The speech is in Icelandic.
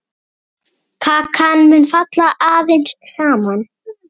Kakan mun falla aðeins saman.